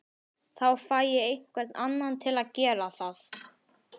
Þá fæ ég einhvern annan til að gera það